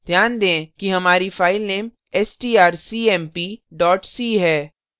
ध्यान दें कि हमारी फाइलनेमstrcmp c है